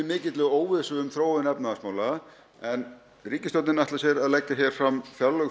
mikilli óvissu um þróun efnahagsmála en ríkisstjórnin ætlar sér að leggja hér fram fjárlög